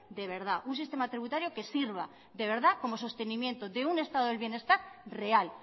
de verdad un sistema tributario que sirva de verdad como sostenimiento de un estado del bienestar real